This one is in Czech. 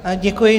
Děkuji.